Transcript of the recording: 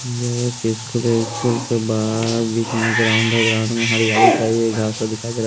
ये एक स्कूल है स्कूल के बाहर बीच में ग्राउंड है ग्राउंड में हरियानी छाई हुई है घासा दिखाई दे रहा।